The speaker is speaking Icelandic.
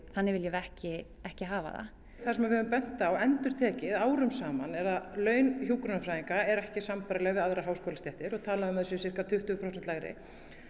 þannig viljum við ekki ekki hafa það það sem við höfum bent á endurtekið og árum saman er að laun hjúkrunarfræðinga eru ekki sambærileg við aðrar háskólastéttir það er talað um að þau séu sirka tuttugu prósent lægri